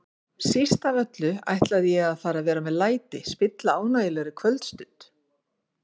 Síst af öllu ætlaði ég að fara að vera með læti, spilla ánægjulegri kvöldstund.